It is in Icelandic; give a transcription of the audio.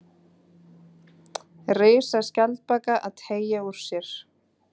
Risaskjaldbaka að teygja úr sér.